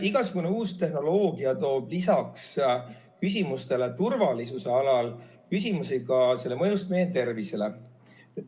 Igasugune uus tehnoloogia toob lisaks turvalisusküsimustele ka küsimusi selle mõjust meie tervisele.